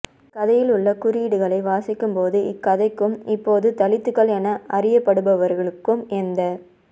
இக்கதையில் உள்ள குறியீடுகளை வாசிக்கும்போது இக்கதைக்கும் இப்போது தலித்துகள் என அறியப்படுபவர்களுக்கும் எந்தத்